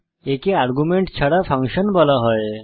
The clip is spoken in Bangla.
একে আর্গুমেন্ট ছাড়া ফাংশন বলা হয়